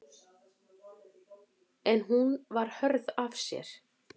En hún var hörð af sér.